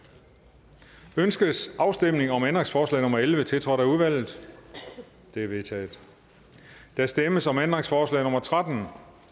ønskes afstemning om ændringsforslag nummer elleve tiltrådt af udvalget det er vedtaget der stemmes om ændringsforslag nummer tretten